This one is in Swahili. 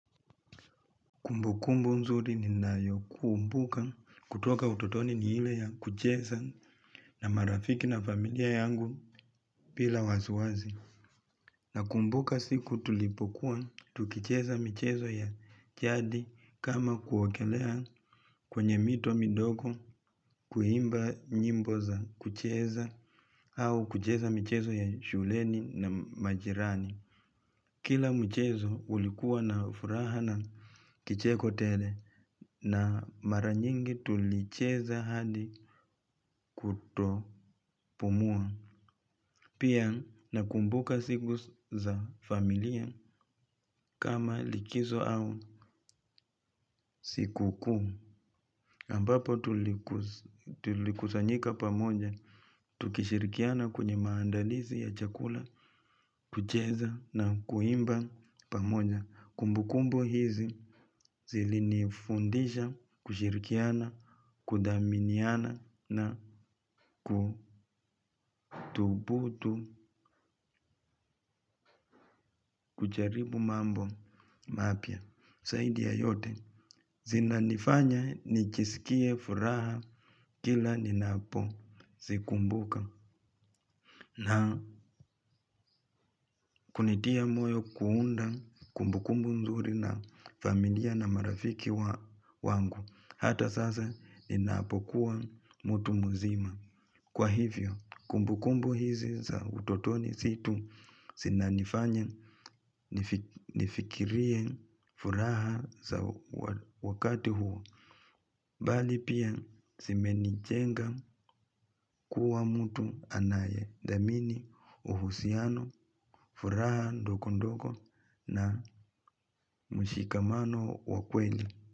Kumbukumbu nzuri ninayokumbuka kutoka utotoni ni ile ya kucheza na marafiki na familia yangu bila wasiwasi. Nakumbuka siku tulipokuwa, tukicheza michezo ya jadi kama kuogelea kwenye mito midogo, kuimba nyimbo za kucheza au kucheza michezo ya shuleni na majirani. Kila mchezo ulikuwa na furaha na kicheko tele na mara nyingi tulicheza hadi kutopumua. Pia nakumbuka siku za familia kama likizo au siku kuu. Ambapo tulikusanyika pamoja, tukishirikiana kwenye maandalizi ya chakula, kucheza na kuimba pamoja. Kumbukumbu hizi zilinifundisha kushirikiana, kudhaminiana na kuthubutu kujaribu mambo mapya. Zaidi ya yote zinanifanya nijisikie furaha kila ninapozikumbuka. Na kunitia moyo kuunda kumbukumbu nzuri na familia na marafiki wangu. Hata sasa ninapokuwa mtu mzima. Kwa hivyo, kumbukumbu hizi za utotoni si tu zinanifanya nifikirie furaha za wakati huo. Bali pia zimenijenga kuwa mtu anayedhamini uhusiano, furaha ndogondogo na mshikamano wa kweli.